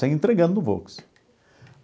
Saía entregando no Volks.